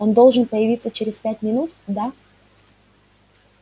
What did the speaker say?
он должен появиться через пять минут да